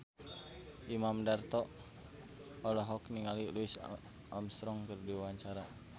Imam Darto olohok ningali Louis Armstrong keur diwawancara